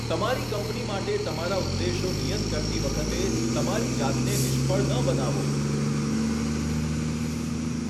તમારી કંપની માટે તમારા ઉદ્દેશો નિયત કરતી વખતે, તમારી જાતને નિષ્ફળ ન બનાવો.